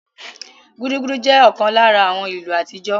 Gudugudu jẹ́ ọ̀kan lára àwọn ìlù àtijọ́